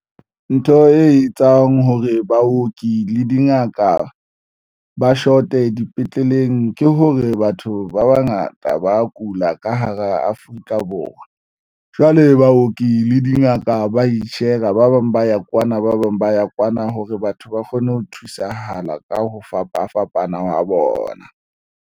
Ntho e etsang hore baoki le dingaka ba short-e dipetleleng ke hore batho ba bangata ba kula ka hara Afrika Borwa ona jwale baoki le dingaka ba i-share-a ba bang ba ya kwana, ba bang ba ya kwana hore batho ba kgone ho thusahala ka ho fapafapana ho bona.